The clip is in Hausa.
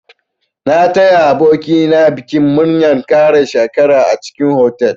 Na taya aboki na bikin murnar ƙara shekara a cikin otal.